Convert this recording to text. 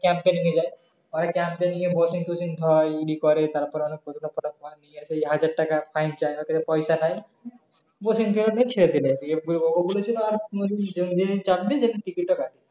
camp এ নিয়ে যায় camp এ নিয়ে হাজার টাকা fine চায় অর কাছে পয়সা নাই চার দিন ticket ও কাটে নি